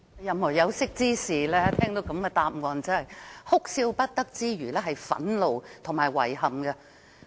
任何有識之士聽到局長的答覆，除哭笑不得外，還會感到憤怒和遺憾。